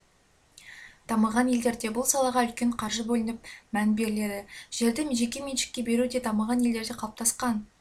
дамыған елдерде бұл салаға үлкен қаржы бөлініп мән беріледі жерді жекеменшікке беру де дамыған елдерде қалыптасқан